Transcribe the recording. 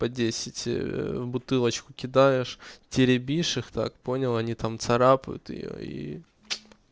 по десять бутылочку кидаешь теребишь их так понял они там царапают её и